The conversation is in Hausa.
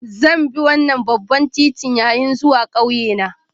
Zan bi wannan babban titin yayin zuwa ƙauye na